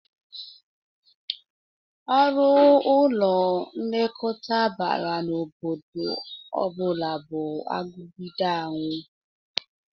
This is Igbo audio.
Uru ụlọ nlekọta bara n'obodo ọ bụla bụ agụgide anwụ